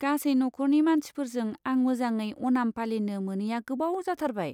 गासै नखरनि मानसिफोरजों आं मोजाङै अनाम पालिनो मोनैया गोबाव जाथारबाय।